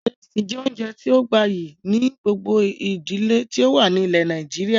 Ìrẹsì jẹ́ oúnjẹ tíì ó gbayyi ni gbogbo ìdílé tí ó wà ní ilẹ́ Nàìjíríà